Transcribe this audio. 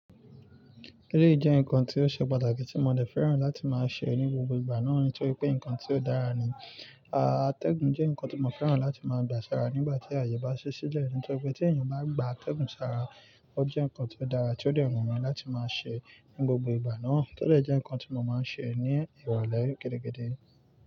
Jẹ́ nǹkan tí ó ṣe pàtàkì tí mo dẹ̀ fẹ́ràn láti máa ṣe ní gbogbo ìgbà náà torí pé nǹkan tí ó dára ni. Atẹ́gùn jẹ́ nǹkan tí mo fẹ́ràn láti máa gba sára nígbà tí àyè bá ṣe sílẹ̀ nítorí pé tí èèyàn bá gba atẹ́gùn sára, ó jẹ́ nǹkan tí ó dára tí ó dẹ wunmí láti máa ṣe ní gbogbo ìgbà náà, tó de jẹ́ nǹkan tí mo máa ń ṣe ní ìrọ̀lẹ́ gidi gidi.